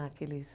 Naqueles...